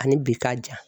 Ani bi k'a ja